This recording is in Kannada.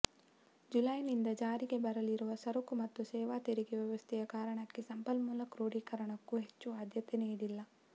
ಜುಲೈನಿಂದ ಜಾರಿಗೆ ಬರಲಿರುವ ಸರಕು ಮತ್ತು ಸೇವಾ ತೆರಿಗೆ ವ್ಯವಸ್ಥೆಯ ಕಾರಣಕ್ಕೆ ಸಂಪನ್ಮೂಲ ಕ್ರೋಡೀಕರಣಕ್ಕೂ ಹೆಚ್ಚು ಆದ್ಯತೆ ನೀಡಿಲ್ಲ